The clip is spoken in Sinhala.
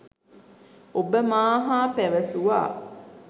ඔබ මා හා පැවසුවා